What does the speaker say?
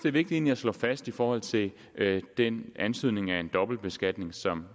er vigtigt at slå fast i forhold til den antydning af en dobbeltbeskatning som